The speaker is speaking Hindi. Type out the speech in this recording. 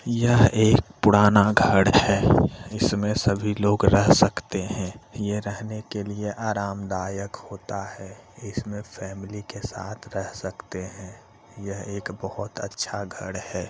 यह एक पुराना घर है जिसमे सभी लोग रह सकते हैं। यह रहने के लिए आरामदायक होता है। इसमे फैमिली के साथ रह सकते हैं| यह एक बहुत अच्छा घर है।